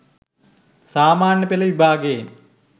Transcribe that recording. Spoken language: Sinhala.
සාමාන්‍ය පෙළ විභාගයෙන්